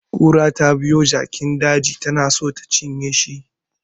Kura tabiyo jakin daji tana so ta cinye shi